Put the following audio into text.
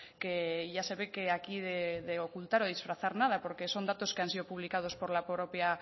que ya se ve que aquí de ocultar de disfrazar nada porque son datos que han sido publicados por la propia